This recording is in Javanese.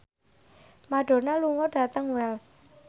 Madonna lunga dhateng Wells